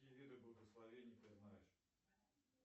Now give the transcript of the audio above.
какие виды благословения ты знаешь